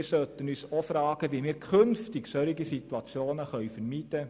Wir sollten uns fragen, wie wir künftig solche Situationen vermeiden.